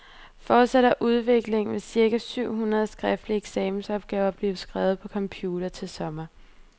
Fortsætter udviklingen, vil cirka syv hundrede skriftlige eksamensopgaver blive skrevet på computer til sommer.